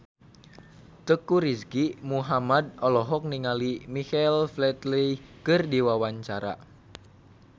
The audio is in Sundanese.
Teuku Rizky Muhammad olohok ningali Michael Flatley keur diwawancara